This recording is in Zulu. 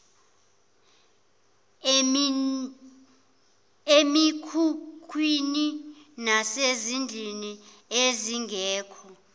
emikhukhwini nasezindlini ezingekho